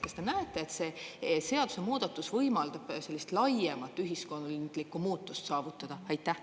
Kas te näete, et see seadusemuudatus võimaldab sellist laiemat ühiskondlikku muutust saavutada?